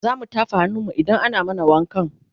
zamu tafa hannun mu idan ana mana wakan